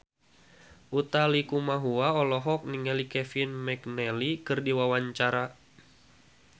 Utha Likumahua olohok ningali Kevin McNally keur diwawancara